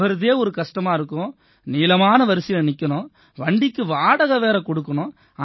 போகறதே ஒரு கஷ்டமா இருக்கும் நீளமான வரிசையில நிக்கணும் வண்டிக்கு வாடகை வேற குடுக்கணும்